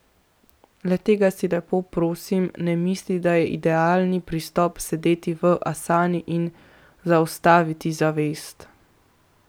Le tega si, lepo prosim, ne misli, da je idealni pristop sedeti v asani in zaustaviti zavest.